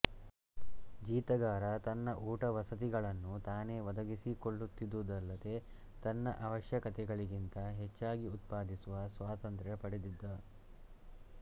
ಜೀತಗಾರ ತನ್ನ ಊಟ ವಸತಿಗಳನ್ನು ತಾನೇ ಒದಗಿಸಿಕೊಳ್ಳುತ್ತಿದ್ದುದಲ್ಲದೆ ತನ್ನ ಅವಶ್ಯಕತೆಗಳಿಗಿಂತ ಹೆಚ್ಚಾಗಿ ಉತ್ಪಾದಿಸುವ ಸ್ವಾತಂತ್ರ್ಯ ಪಡೆದಿದ್ದ